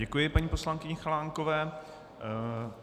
Děkuji paní poslankyni Chalánkové.